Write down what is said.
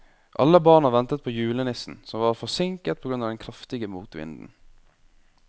Alle barna ventet på julenissen, som var forsinket på grunn av den kraftige motvinden.